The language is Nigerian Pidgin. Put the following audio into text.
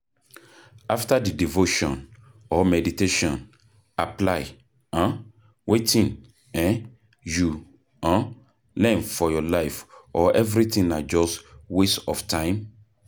After di devotion or meditation, apply um wetin um you um learn for your life or everything na just waste of time